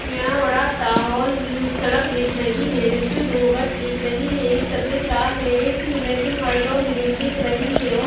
यहां बड़ा सा हौल सड़क दिख रही है जिसमें दो बस दिख रही है एक सफेद लाल है एक ब्लॅक एंड वाइट और ग्रीन दिख रही है और --